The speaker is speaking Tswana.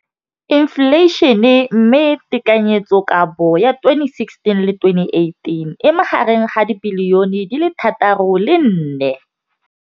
Infleišene, mme tekanyetsokabo ya 2017, 18, e magareng ga R6.4 bilione.